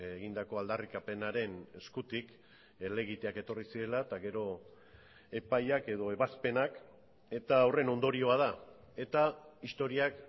egindako aldarrikapenaren eskutik helegiteak etorri zirela eta gero epaiak edo ebazpenak eta horren ondorioa da eta historiak